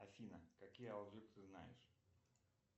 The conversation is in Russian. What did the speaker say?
афина какие ты знаешь